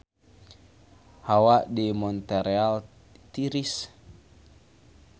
Hawa di Montreal tiris